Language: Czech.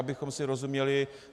Abychom si rozuměli.